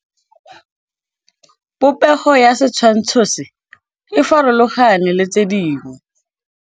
Popêgo ya setshwantshô se, e farologane le tse dingwe.